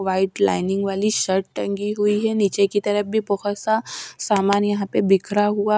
white lining वाली shirt टंगी हुई है नीचे की तरफ भी बहोत सा सामान यहां पे बिखरा हुआ--